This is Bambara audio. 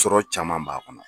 Sɔrɔ caman b'a kɔnɔ.